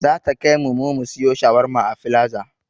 Zata kaimu mu siyo shawarma a filaza